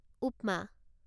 উপমা